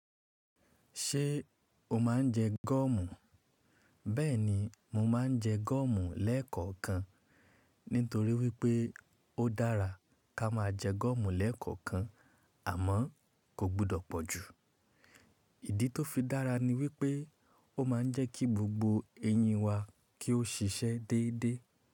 Ṣé o máa ń jẹ gọ́ọ̀mù? Bẹ́ẹ̀ni, mo máa ń jẹ gọ́ọ̀mù lẹ́ẹ̀kọ̀kan nítorí wípé ó dára ká máa jẹ gọ́ọ̀mù lẹ́ẹ̀kọ̀kan àmọ́ kò gbọ́dọ̀ pọ̀ jù. Ìdí tó fi dára ni wípé ó ma ń jẹ́ kí gbogbo eyín wa kí ó ṣiṣẹ́ déédé.